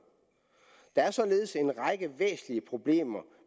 der er således en række væsentlige problemer